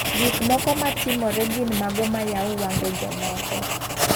Gik moko matimore gin mago mayao wange jomoko.